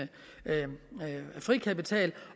frikapital